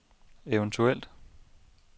eventuel